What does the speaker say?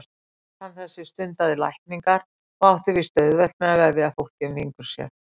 Natan þessi stundaði lækningar og átti víst auðvelt með að vefja fólki um fingur sér.